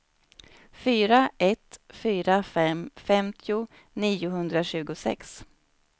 fyra ett fyra fem femtio niohundratjugosex